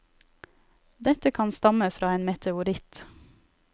Dette kan stamme fra en meteoritt.